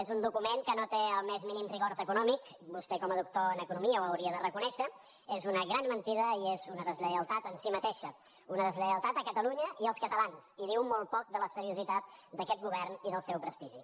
és un document que no té el més mínim rigor econòmic vostè com a doctor en economia ho hauria de reconèixer és una gran mentida i és una deslleialtat en si mateixa una deslleialtat a catalunya i als catalans i diu molt poc de la seriositat d’aquest govern i del seu prestigi